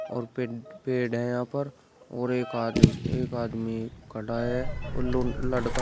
और पेड़ है यहां पर और एक आदमी एक आदमी खड़ा है। उल लड़का को--